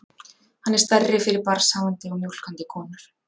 Hann er stærri fyrir barnshafandi og mjólkandi konur.